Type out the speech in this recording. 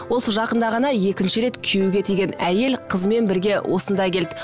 осы жақында ғана екінші рет күйеуге тиген әйел қызымен бірге осында келді